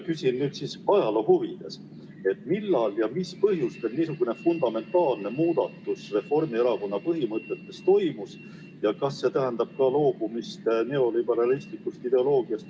Küsin ajaloo huvides, et millal ja mis põhjusel niisugune fundamentaalne muutus Reformierakonna põhimõtetes toimus ja kas see tähendab ka loobumist üldse neoliberalistlikust ideoloogiast.